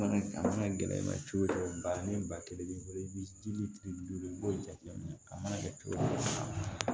A mana gɛlɛya i ma cogo o cogo ba ni ba kelen b'i bolo i bi ji minɛ a mana kɛ cogo o cogo